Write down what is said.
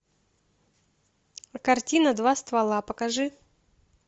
картина два ствола покажи